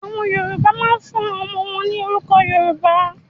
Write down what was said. Àwọn Yorùbá máa ń fún àwọn ọmọ wọn ní orúkọ Yorùbá.